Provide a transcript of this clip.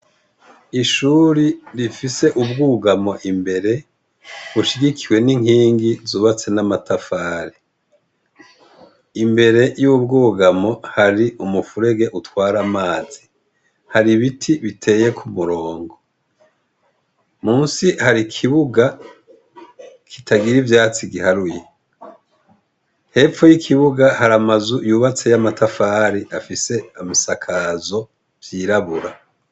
Ishuri rifise ubwugamo imbere, bushigikiwe n'inkingi zubatswe n'amatafari. Imbere y'ubwugamo, hari umufurege utwar'amazi. Har'ibiti biteye ku mirongo. Musi har'ikibuga kitagira ivyatsi giharuye. Hepfo y'ikibuga, har'aramazu yubatse y'amatafari afise amasakazo vyirabura.